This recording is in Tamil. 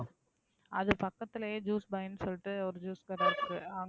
அது பக்கத்துலயே Juice buy ன்னு சொல்லிட்டு ஒரு Juice கடை இருக்கு.